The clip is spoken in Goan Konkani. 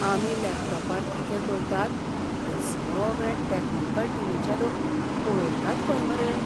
आमी लॅपटॉपार कितें करतात ते सगळें टॅक्निकल टिमीचे लोक पळयतात खंय मरे.